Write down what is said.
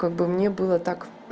как бы мне было так